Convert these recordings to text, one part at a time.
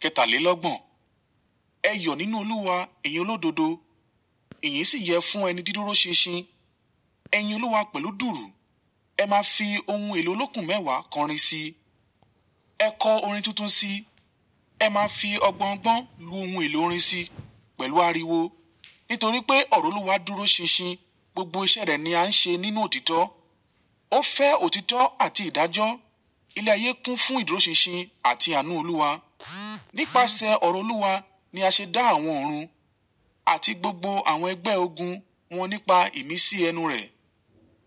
Kẹtàlélọ́gbọ̀n. Ẹ yọ̀ nínú Olúwa, ẹ̀yin olódodo, ẹ̀yin sì yẹ fún ẹni dídúró ṣinṣin. Ẹ yin Olúwa pẹ̀lú dùùrù. Ẹ máa fi ohun èlò olókùn mẹ́wàá kọrin si. Ẹ kọ orin tuntun si. Ẹ máa fi ọgbọ́n gbọ́n lu ohun èlò orin si pẹ̀lú ariwo. Nítorí pé ọ̀rọ̀ Olúwa dúró ṣinṣin, gbogbo iṣẹ́ rẹ̀ ni a ń ṣe nínú òtítọ́. Ó fẹ́ òtítọ́ àti ìdájọ́. Ilẹ̀ ayé kún fún ìdúró ṣinṣin àti àánú Olúwa. Nípasẹ̀ ọ̀rọ̀ Olúwa ni a ṣe dá àwọn ọ̀run àti gbogbo àwọn ẹgbẹ́ ogun wọn nípa ìmísí ẹnu rẹ̀.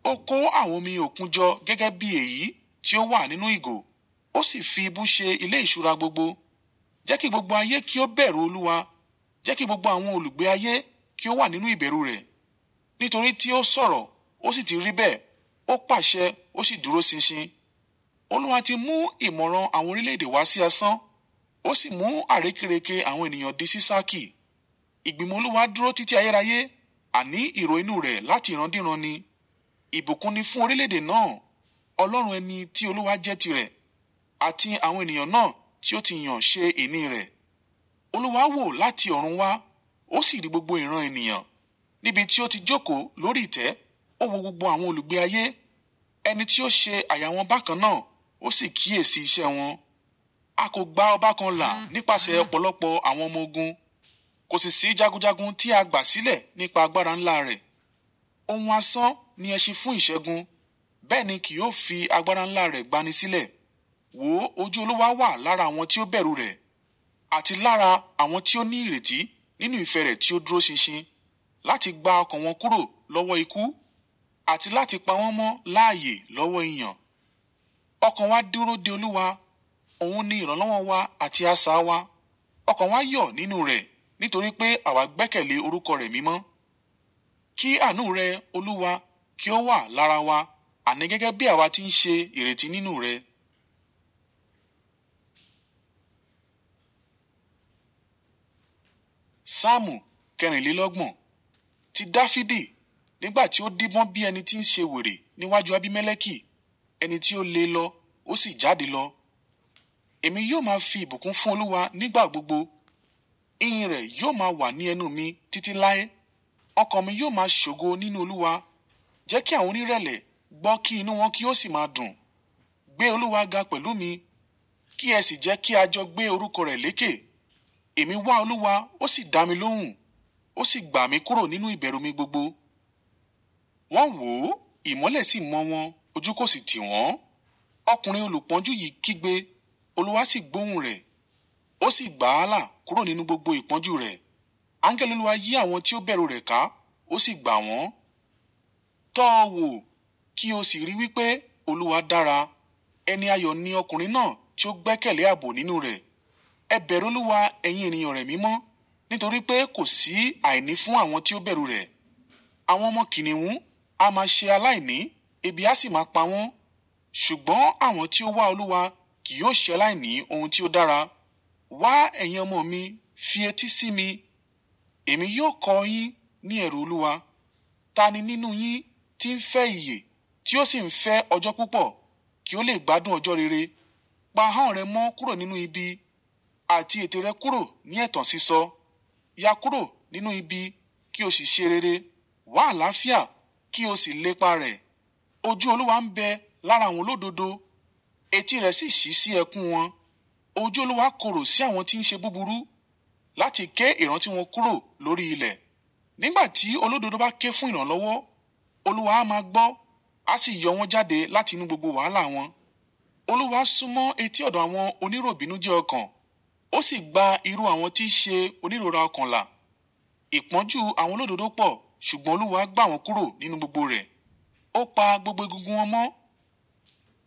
Ó kó àwọn omi òkun jọ gẹ́gẹ́ bí èyí tí ó wà nínú ìgò, ó sì fi ibú ṣe ilé ìṣúra gbogbo. Jẹ́ kí gbogbo ayé kí ó bẹ̀rù Olúwa. Jẹ́ kí gbogbo àwọn olùgbé ayé kí ó wà nínú ìbẹ̀rù rẹ̀. Nítorí tí ó sọ̀rọ̀, ó sì ti rí bẹ́ẹ̀, ó pàṣẹ, ó sì dúró ṣinṣin. Olúwa ti mú ìmọ̀ràn àwọn orílẹ̀-èdè wá sí asán, ó sì mú àrékérekè àwọn ènìyàn di ṣíṣákí. Ìgbìmọ̀ Olúwa dúró títí ayérayé, àní ìrònú rẹ̀ láti ìran díran ni. Ìbùkún ni fún orílẹ̀-èdè náà, ọlọ́run ẹni tí Olúwa jẹ́ tirẹ̀, àti àwọn ènìyàn náà tí ó ti yàn ṣe ìní rẹ̀. Olúwa wò láti ọ̀run wá, ó sì rí gbogbo ìran ènìyàn. Níbi tí ó ti jókòó lórí ìtẹ́, ó wo gbogbo àwọn olùgbé ayé. Ẹni tí ó ṣe àyà wọ́n bákan náà, ó sì kíyèsi iṣẹ́ wọn. A kò gba ọba kan là nípasẹ̀ ọ̀pọ̀lọpọ̀ àwọn ọmọ ogun, kò sì sí jagunjagun tí a gbà sílẹ̀ nípa agbára ńlá rẹ̀. Ohun asán ni ẹ ṣe fún ìṣẹ́gun, bẹ́ẹ̀ ni kì yóò fi agbára ńlá rẹ̀ gba ni sílẹ̀. Wò ó, ojú Olúwa wà lára àwọn tí ó bẹ̀rù rẹ̀, àti lára àwọn tí ó ní ìrètí nínú ìfẹ́ rẹ̀ tí ó dúró ṣinṣin, láti gba ọkàn wọn kúrò lọ́wọ́ ikú, àti láti pa wọ́n mọ́ láàyè lọ́wọ́ ìyàn. Ọkàn wa dúró de Olúwa, òun ni ìrànlọ́wọ́ wa àti asà wa. Ọkàn wa yọ̀ nínú rẹ̀ nítorí pé àwa gbẹ́kẹ̀lé orúkọ rẹ̀ mímọ́. Kí àánú rẹ, Olúwa, kí ó wà lára wa, àní gẹ́gẹ́ bí àwa ti ń ṣe ìrètí nínú rẹ. Sámùú, kẹrìnlélọ́gbọ̀n. Ti Dáfídì. Nígbà tí ó díbọ́n bí ẹni tí ń ṣe wèrè níwájú Abímẹ́lékì, ẹni tí ó le lọ, ó sì jáde lọ. Èmi yóò máa fi ìbùkún fún Olúwa nígbà gbogbo; eyín rẹ̀ yóò máa wà ní ẹnu mi títí láé. Ọkàn mi yóò máa ṣògo nínú Olúwa. Jẹ́ kí àwọn onírẹ̀lẹ̀ gbọ́ kí inú wọn kí ó sì máa dùn. Gbé Olúwa ga pẹ̀lú mi, kí ẹ sì jẹ́ kí a jọ gbé orúkọ rẹ̀ lékè. Èmi wá Olúwa, ó sì dá mi lóhùn, ó sì gbà mí kúrò nínú ìbẹ̀rù mi gbogbo. Wọ́n wò ó, ìmọ́lẹ̀ sì mọ́ wọn, ojú kò sì tì wọ́n. Ọkùnrin olùpọ́njú yìí kígbe, Olúwa sì gbóhùn rẹ̀, ó sì gbà á là kúrò nínú gbogbo ìpọ́njú rẹ̀. Áńgẹ́lì Olúwa yí àwọn tí ó bẹ̀rù rẹ̀ ká, ó sì gbà wọ́n. Tọ́ ọ wò kí o sì rí wípé Olúwa dára. Ẹni ayọ̀ ni ọkùnrin náà tí ó gbẹ́kẹ̀lé ààbò nínú rẹ̀. Ẹ bẹ̀rù Olúwa, ẹ̀yin ènìyàn rẹ̀ mímọ́, nítorí pé kò sí àìní fún àwọn tí ó bẹ̀rù rẹ̀. Àwọn ọmọ kìnnìún á máa ṣe aláìní, ebi á sì máa pa wọ́n; ṣùgbọ́n àwọn tí ó wá Olúwa kì yóò ṣẹ láìní ohun tí ó dára. Wá, ẹ̀yin ọmọ mi, fi etí sí mi: èmi yóò kọ yín ní ẹ̀rù Olúwa. Ta ni nínú yín tí ń fẹ́ ìyè tí ó sì ń fẹ́ ọjọ́ púpọ̀ kí ó lè gbádùn ọjọ́ rere? Pa ahọ́n rẹ mọ́ kúrò nínú ibi, àti ètè rẹ kúrò ní ẹ̀tàn sísọ. Ya kúrò nínú ibi kí o sì ṣe rere, wá àlàáfíà kí o sì lépa rẹ̀. Ojú Olúwa ń bẹ lára àwọn olódodo, etí rẹ̀ sì ṣí sí ẹkún wọn. Ojú Olúwa korò sí àwọn tí ń ṣe búburú láti ké ìran tí wọn kúrò lórí ilẹ̀. Nígbà tí olódodo bá ké fún ìrànlọ́wọ́, Olúwa á máa gbọ́, a sì yọ wọ́n jáde láti inú gbogbo wàhálà wọn. Olúwa súnmọ́ etí ọ̀dọ̀ àwọn oníròbìnújẹ́ ọkàn, ó sì gba irú àwọn tí ṣe onírọ́ra ọkàn là. Ìpọ́njú àwọn olódodo pọ̀, ṣùgbọ́n Olúwa gbà wọ́n kúrò nínú gbogbo rẹ̀. Ó pa gbogbo egungun wọn mọ́,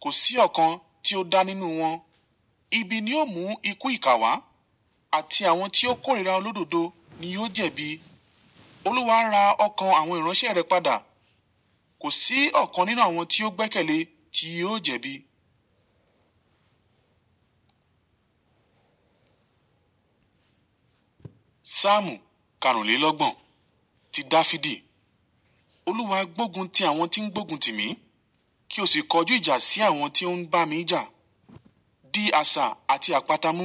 kò sí ọ̀kan tí ó dá nínú wọn. Ibi ni ó mú ikú ìkà wá, àti àwọn tí ó kórìíra olódodo ni yóò jẹ̀bi. Olúwa ra ọkàn àwọn ìránṣẹ́ rẹ̀ padà, kò sí ọ̀kan nínú àwọn tí ó gbẹ́kẹ̀lé tí yóò jẹ̀bi. Sámùú, karùnlélọ́gbọ̀n. Ti Dáfídì. Olúwa gbógun ti àwọn tí ń gbógun tì mí, kí o sì kọjú ìjà sí àwọn tí ó ń bá mi jà. Dí àṣà àti àpáta mú.